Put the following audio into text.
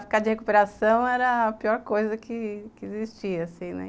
Ficar de recuperação era a pior coisa que existia assim, né.